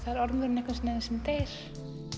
er ormurinn einhvern veginn sem deyr